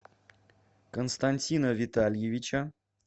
константина витальевича